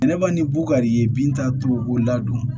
Ne ba ni bukari ye bin t'a to b'o ladon